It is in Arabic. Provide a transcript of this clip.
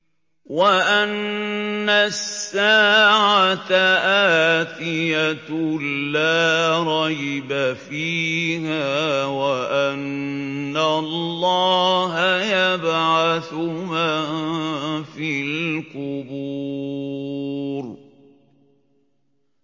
وَأَنَّ السَّاعَةَ آتِيَةٌ لَّا رَيْبَ فِيهَا وَأَنَّ اللَّهَ يَبْعَثُ مَن فِي الْقُبُورِ